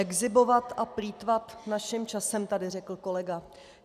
Exhibovat a plýtvat naším časem tady řekl kolega.